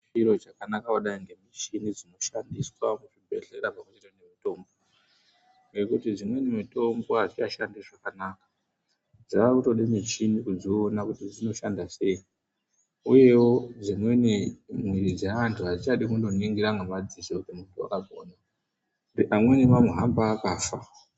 Chiro chakanaka kudai ngemuchini dzinoshandiswa kuzvibheleya pamwe ngemutombo ngekuti dzimweni mutombo adzichashandi zvakanaka dzakuda muchini kudziona kuti dzinoshanda sei uyewo dzimweni miri dzevandu adzichadi kungoningira ngemadziso kuti wakazwai ngekuti amweni mamuhamba akafa.